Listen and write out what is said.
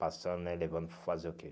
Passando né, levando para fazer o quê?